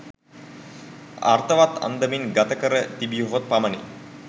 අර්ථවත් අන්දමින් ගත කර තිබියහොත් පමණි